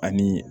Ani